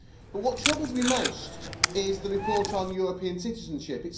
But what troubles me most is the report on European citizenship.